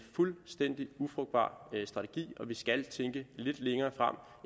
fuldstændig ufrugtbar strategi og vi skal tænke lidt længere frem